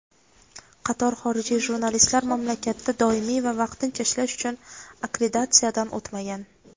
qator xorijiy jurnalistlar mamlakatda doimiy va vaqtincha ishlash uchun akkreditatsiyadan o‘tmagan.